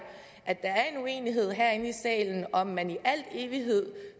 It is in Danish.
at der er en uenighed herinde i salen om hvorvidt man i al evighed